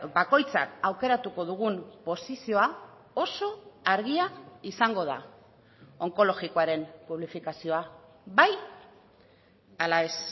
bakoitzak aukeratuko dugun posizioa oso argia izango da onkologikoaren publifikazioa bai ala ez